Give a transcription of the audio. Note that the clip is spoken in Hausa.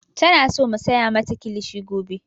Tana so mu saya mata kilishi gobe.